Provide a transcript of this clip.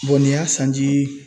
nin y'a sanji